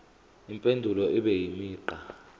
impendulo ibe imigqa